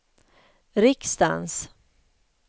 riksdagens